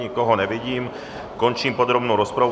Nikoho nevidím, končím podrobnou rozpravu.